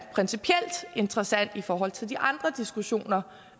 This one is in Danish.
interessant i forhold til de andre diskussioner